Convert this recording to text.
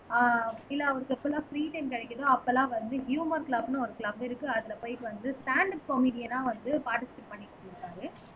ஆஹ் இல்ல அவருக்கு எப்போலா ப்ரீ டைம் கிடைக்குதோ அப்பெல்லாம் வந்து ஹுமர் க்ளப்ன்னு ஒரு க்ளப் இருக்கு அதுல போயிட்டு வந்து ஸ்டேண்ட் அப் காமிடியனா வந்து பார்ட்டிசிபேட் பண்ணிட்டு இருந்தாரு